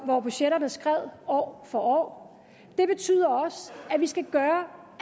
hvor budgetterne skred år for år det betyder også at vi skal gøre